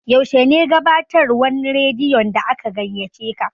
Yaushe ne gabatarwan radiyon da aka gaiyaceka?